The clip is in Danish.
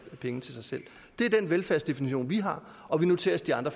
penge til sig selv det er den velfærdsdefinition vi har og vi noterer os de andre